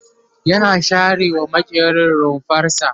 yana share wa maƙerin rumfarsa